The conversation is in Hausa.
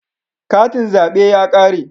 Katin zabe ya kare